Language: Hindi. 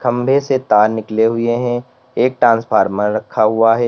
खंभे से तार निकले हुए हैं एक ट्रांसफार्मर रखा हुआ है।